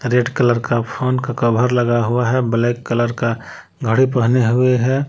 Red colour का phone का cover लगा हुआ है ब्लैक कलर का साड़ी पहने हुए हैं।